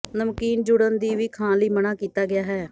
ਨਮਕੀਨ ਜੁੜਨ ਦੀ ਵੀ ਖਾਣ ਲਈ ਮਨ੍ਹਾ ਕੀਤਾ ਗਿਆ ਹੈ